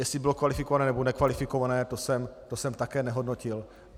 Jestli bylo kvalifikované, nebo nekvalifikované, to jsem také nehodnotil.